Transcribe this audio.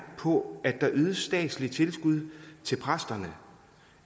på at der ydes statslige tilskud til præsterne